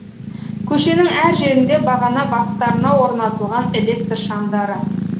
көшенің әр жерінде бағана бастарына орнатылған электр шамдары